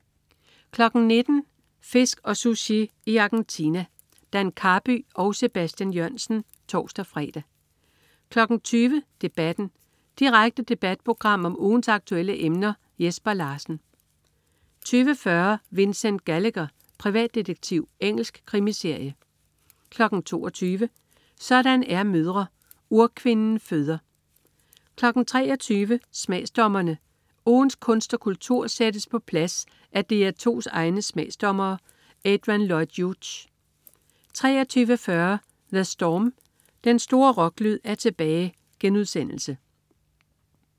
19.00 Fisk og Sushi i Argentina. Dan Karby og Sebastian Jørgensen (tors-fre) 20.00 Debatten. Direkte debatprogram om ugens aktuelle emner. Jesper Larsen 20.40 Vincent Gallagher, privatdetektiv. Engelsk krimiserie 22.00 Sådan er mødre. Urkvinden føder 23.00 Smagsdommerne. Ugens kunst og kultur sættes på plads af DR2's egne smagsdommere. Adrian Lloyd Hughes 23.40 The Storm. Den store rocklyd er tilbage*